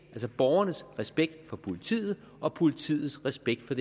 altså borgernes respekt for politiet og politiets respekt